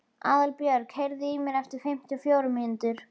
Aðalbjörg, heyrðu í mér eftir fimmtíu og fjórar mínútur.